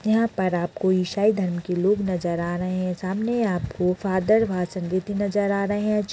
यहाँं पर आप को ईसाई धर्म के लोग नजर आ रहे हैं सामने आपको फादर भासर देते नजर आ रहे हैं जो --